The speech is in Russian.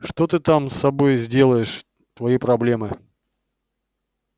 что ты там с собой сделаешь твои проблемы